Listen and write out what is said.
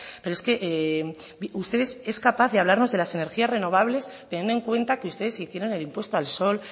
pero es que usted es capaz de hablarnos de las energías renovables teniendo en cuenta que ustedes hicieron el impuesto al sol